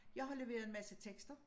Jeg har leveret en masse tekster